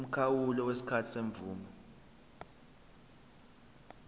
umkhawulo wesikhathi semvume